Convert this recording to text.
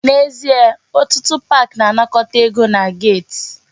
N'ezie, otụtụ park na-anakọta ego na gate.